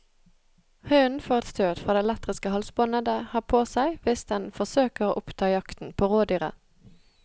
Hunden får et støt fra det elektriske halsbåndet det har på seg hvis den forsøker å oppta jakten på rådyret.